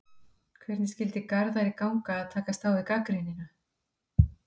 Hvernig skyldi Garðari ganga að takast á við gagnrýnina?